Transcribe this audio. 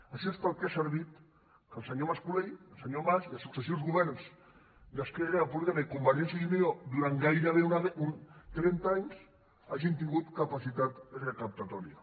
això és per al que ha servit que el senyor mas colell el senyor mas i els successius governs d’esquerra republicana i convergència i unió durant gairebé trenta anys hagin tingut capacitat recaptatòria